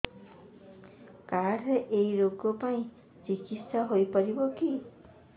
card ରେ ଏଇ ରୋଗ ପାଇଁ ଚିକିତ୍ସା ହେଇପାରିବ କି